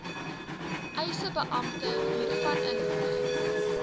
eisebeampte hiervan inlig